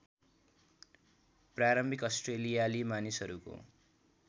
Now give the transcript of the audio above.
प्रारम्भिक अस्ट्रेलियाली मानिसहरूको